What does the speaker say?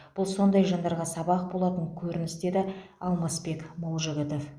бұл сондай жандарға сабақ болатын көрініс деді алмасбек молжігітов